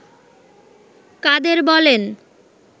কাদের বলেন